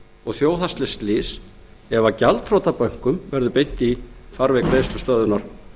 og þjóðhagslegt slys ef gjaldþrota bönkum verður beint í farveg greiðslustöðvunar